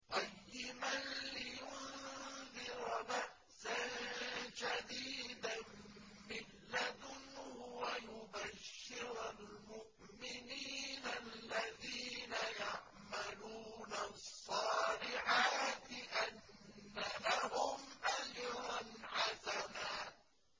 قَيِّمًا لِّيُنذِرَ بَأْسًا شَدِيدًا مِّن لَّدُنْهُ وَيُبَشِّرَ الْمُؤْمِنِينَ الَّذِينَ يَعْمَلُونَ الصَّالِحَاتِ أَنَّ لَهُمْ أَجْرًا حَسَنًا